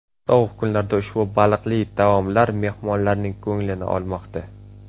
Sovuq kunlarda ushbu baliqli taomlar mehmonlarning ko‘nglini olmoqda.